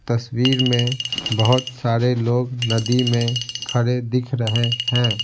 तस्वीर में बहुत सारे लोग नदी में खड़े दिख रहे हैं ।